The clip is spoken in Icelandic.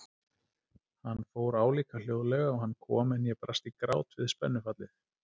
Hann fór álíka hljóðlega og hann kom en ég brast í grát við spennufallið.